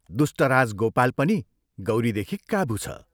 दुष्टराज गोपाल पनि गौरीदेखि काबू छ।